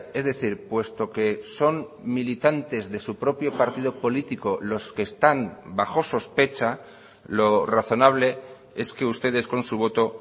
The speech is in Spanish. es decir puesto que son militantes de su propio partido político los que están bajo sospecha lo razonable es que ustedes con su voto